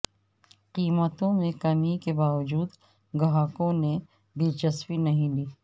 قیمتوں میں کمی کے باوجود گاہکوں نے دلچسپی نہیں لی